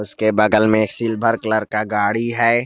इसके बगल में सिल्वर कलर का गाड़ी है।